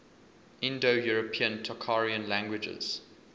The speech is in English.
indo european tocharian languages